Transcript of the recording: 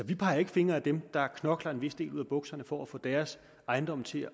vi peger ikke fingre ad dem der knokler en vis del ud af bukserne for at få deres ejendom til